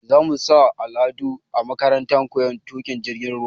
Za mu sa Haladu a makarantar koyon tuƙin jirgin ruwa